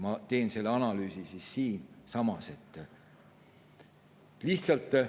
Ma teen selle analüüsi siis siinsamas ära.